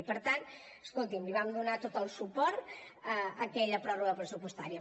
i per tant escolti’m li vam donar tot el suport a aquella pròrroga pressupostària